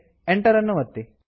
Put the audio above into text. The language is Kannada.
ಎಂಟರ್ ಅನ್ನು ಒತ್ತಿರಿ